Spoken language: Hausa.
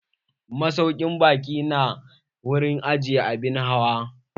Masaukin baƙi nada wurin ajiye abin hawa.